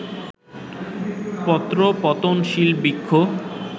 পত্রপতনশীল বৃক্ষ